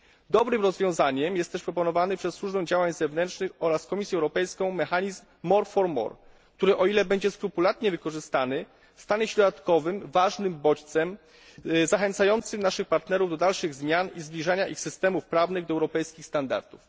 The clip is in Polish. Dobrym rozwiązaniem jest też proponowany przez Służbę Działań Zewnętrznych oraz Komisję Europejską mechanizm more for more, który o ile zostanie skrupulatnie wykorzystany stanie się dodatkowym ważnym bodźcem zachęcającym naszych partnerów do dalszych zmian i zbliżania ich systemów prawnych do europejskich standardów.